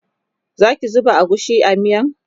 Zaki zuba agushi a miyan?